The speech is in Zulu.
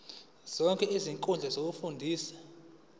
zonke izinkundla zokufunda